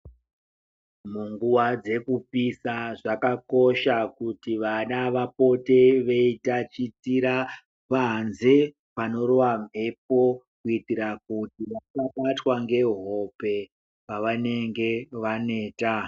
Munguwa dzekupisa zvakakosha kuti vana vapote veyitachitira panze panorowa mhepo, kuitira kuti vasabatwa ngehope pavanenge vaneta.